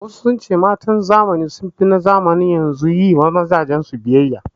Wasu sun ce matan zamanin da sun fi na zamanin yanzu yi wa mazajen su biyayya